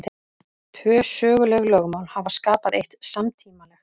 Tvö söguleg lögmál hafa skapað eitt samtímalegt.